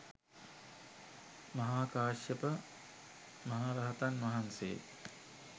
මහා කාශ්‍යප මහ රහතන් වහන්සේ